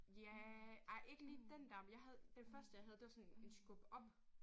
Ja ej ikke lige den dér men jeg havde den første jeg havde det var sådan en en skub op